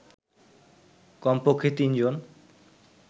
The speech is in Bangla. কমপক্ষে তিনজন